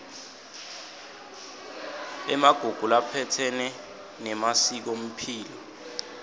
emagugu laphatselene nemasikomphilo